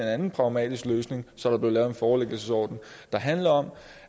anden pragmatisk løsning så der kunne blive lavet en forelæggelsesordning der handler om